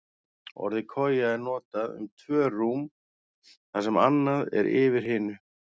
Orðið koja er notað um tvö rúm þar sem annað er yfir hinu.